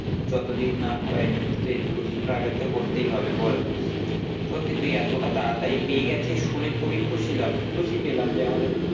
যতদিন না হয়ে তো একটু struggle তো করতেই হবে বল, সত্যি তুই এতটা তাড়াতাড়ি পেয়ে গেছিস শুনে খুবই খুশি লাভ খুশি পেলাম যে আমাদের